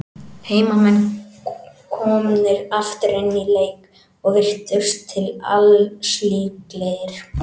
Heimamenn komnir aftur inn í leikinn, og virtust til alls líklegir.